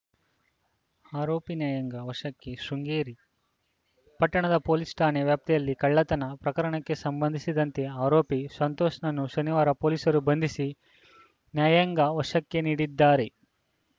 ಆರೋಪಿ ನ್ಯಾಯಾಂಗ ವಶಕ್ಕೆ ಶೃಂಗೇರಿ ಪಟ್ಟಣದ ಪೊಲೀಸ್‌ ಠಾಣಾ ವ್ಯಾಪ್ತಿಯಲ್ಲಿ ಕಳ್ಳತನ ಪ್ರಕರಣಕ್ಕೆ ಸಂಬಂಧಿಸಿದಂತೆ ಆರೋಪಿ ಸಂತೋಷ್‌ನನ್ನು ಶನಿವಾರ ಪೊಲೀಸರು ಬಂಧಿಸಿ ನ್ಯಾಯಾಂಗ ವಶಕ್ಕೆ ನೀಡಿದ್ದಾರೆ